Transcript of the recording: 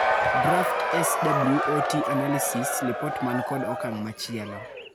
Draft SWOT analysis lipot man kod okang' machielo/